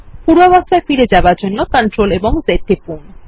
পূর্বাবস্থায় ফিরে যাওয়ার জন্য Ctrl Z টিপুন